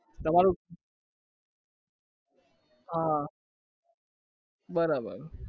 તમારું હા બરાબર